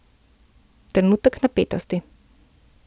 Trenutek napetosti.